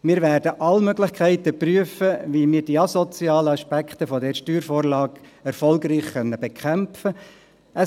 Wir werden alle Möglichkeiten prüfen, wie wir die asozialen Aspekte dieser Steuervorlage erfolgreich bekämpfen können.